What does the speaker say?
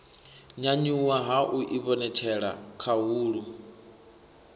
nyanyuwa ha u ivhonetshela khahulo